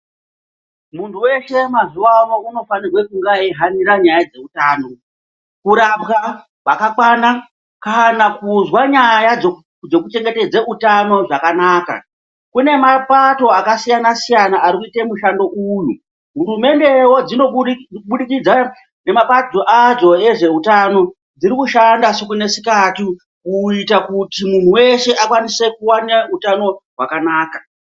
Munhu weshe mazuwano unofanire kunge achi hanire nyaya dzeutano kurapwa kwakakwana kana kuzwa nyaya dzekuchengetedza utano zvakanaka kune mapato akasiyanasiyana arikuite mushando uyu, hurumende wo dzinobudikidza nemapato adzo ezveutano dzirikushanda siku nesikati kuita kuti munhu weshe akwanise kuwana utano hwakawanda.